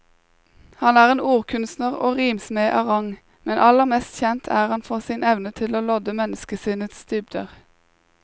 Han er en ordkunstner og rimsmed av rang, men aller mest kjent er han for sin evne til å lodde menneskesinnets dybder.